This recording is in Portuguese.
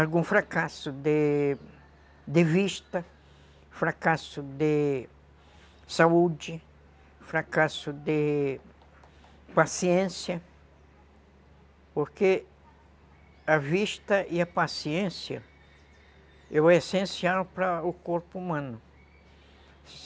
algum fracasso de... de vista, fracasso de saúde, fracasso de paciência, porque a vista e a paciência é o essencial para o corpo humano.